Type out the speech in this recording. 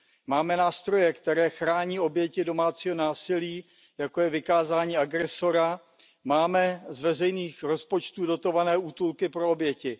Máme nástroje, které chrání oběti domácího násilí, jako je vykázání agresora, máme z veřejných rozpočtů dotované útulky pro oběti.